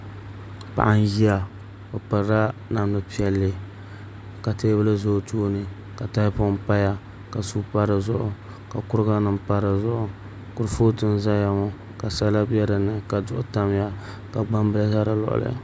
Paɣa n ʒiya o pirila namdi piɛlli ka teebuli ʒɛ o tooni ka tahapoŋ paya ka suu pa dizuɣu ka kuriga nim pa dizuɣu kurifooti n ʒɛya ŋo ka sala bɛ dinni ka duɣu tamya ka gbambili ʒɛ di luɣuli